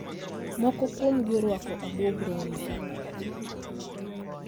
moko kuomgi orwako abuog rombe,